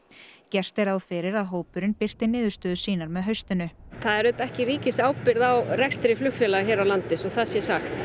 gert er ráð fyrir að hópurinn birti niðurstöður sínar með haustinu það er ekki ríkisábyrgð á flugfélögum hér á landi svo að það sé sagt